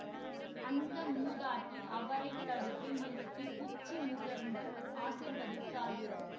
அந்த மூதாட்டி அவரை தடுத்து நிறுத்தி உச்சி முகர்ந்து ஆசீர்வதித்தாள்